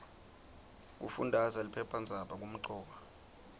kufundaza liphephandzaba kumcoka